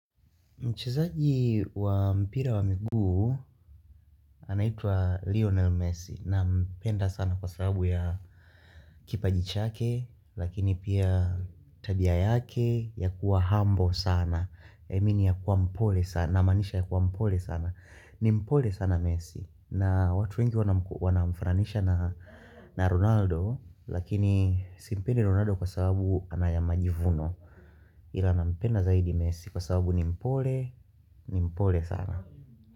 Mchezaji wa mpira wa miguu anaitwa Lionel Messi nampenda sana kwa sababu ya kipajichake lakini pia tabia yake ya kuwa humble sana. Namini ya kuwa mpole sana namaanisha ya kuwa mpole sana. Ni mpole sana Messi na watu wengi wanamfananisha na Ronaldo lakini simpendi Ronaldo kwa sababu anayama jivuno. Ilana mpenda zaidi messi kwa sababu nimpole nimpole sana.